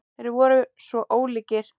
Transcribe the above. Þeir voru svo ólíkir.